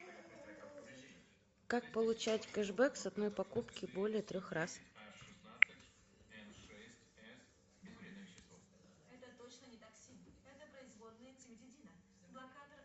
как получать кэшбэк с одной покупки более трех раз